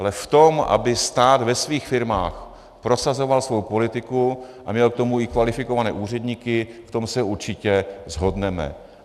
Ale v tom, aby stát ve svých firmách prosazoval svou politiku a měl k tomu i kvalifikované úředníky, v tom se určitě shodneme.